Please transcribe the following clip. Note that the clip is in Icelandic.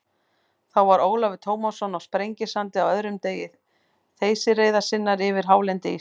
Þá var Ólafur Tómasson á Sprengisandi á öðrum degi þeysireiðar sinnar yfir hálendi Íslands.